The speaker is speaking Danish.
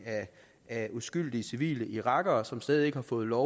af uskyldige civile irakere som stadig ikke har fået lov